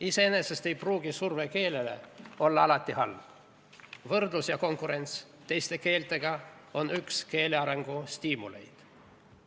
Iseenesest ei pruugi surve keelele olla alati halb – võrdlus ja konkurents teiste keeltega on üks keele arengu stiimuleid.